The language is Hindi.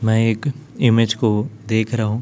मैं एक इमेज को देख रहा हूँ।